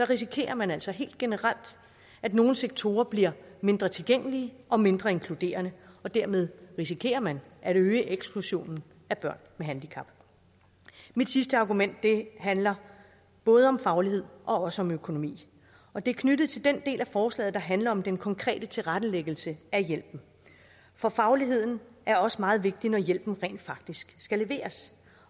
risikerer man altså helt generelt at nogle sektorer bliver mindre tilgængelige og mindre inkluderende og dermed risikerer man at øge eksklusionen af børn med handicap mit sidste argument handler både om faglighed og også om økonomi og det er knyttet til den del af forslaget der handler om den konkrete tilrettelæggelse af hjælpen for fagligheden er også meget vigtig når hjælpen rent faktisk skal leveres